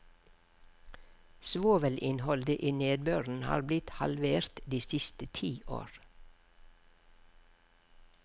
Svovelinnholdet i nedbøren har blitt halvert de siste ti år.